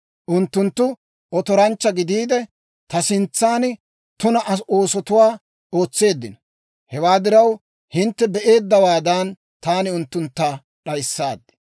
Unttunttu otoranchcha gidiide, ta sintsan tuna oosotuwaa ootseeddino. Hewaa diraw, hintte be'eeddawaadan, taani unttuntta d'ayissaad.